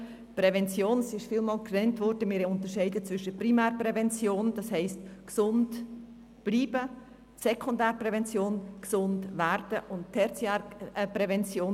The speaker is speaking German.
Bei der Prävention unterscheiden wir zwischen der Primärprävention, was so viel wie «gesund bleiben» bedeutet, der Sekundärprävention, die das «gesund werden» umfasst, und der Tertiärprävention.